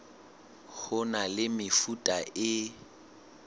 ho na le mefuta e